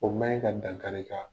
O ma in ka dankari i la.